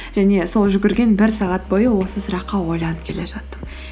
және сол жүгірген бір сағат бойы осы сұраққа ойланып келе жаттым